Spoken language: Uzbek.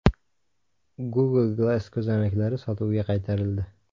Google Glass ko‘zoynaklari sotuvga qaytarildi.